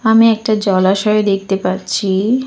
আমি একটা জলাশয় দেখতে পাচ্ছি।